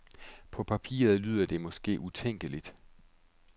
På papiret lyder det måske utænkeligt.